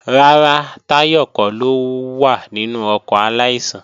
Rárá, Táyọ̀ kọ́ ló wà nínú ọkọ̀ aláìsàn